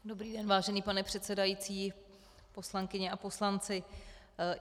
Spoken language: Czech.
Dobrý den, vážený pane předsedající, poslankyně a poslanci.